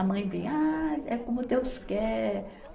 A mãe vem, ah, é como Deus quer.